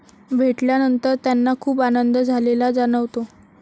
भेटल्यानंतर त्यांना खूप आनंद झालेला जाणवतो.